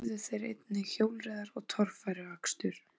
Þar æfðu þeir einnig hjólreiðar og torfæruakstur.